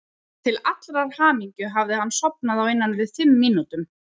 Til allrar hamingju hafði hann sofnað á innan við fimm mínútum.